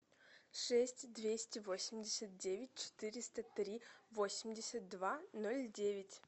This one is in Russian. шесть двести восемьдесят девять четыреста три восемьдесят два ноль девять